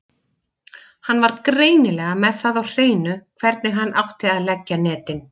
Hann var greinilega með það á hreinu hvernig hann átti að leggja netin.